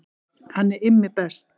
Hann er Immi best.